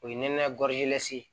O ye nɛnɛ ye